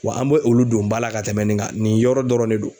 Wa an bɛ olu don ba la ka tɛmɛ nin kan, nin yɔrɔ dɔrɔn de don.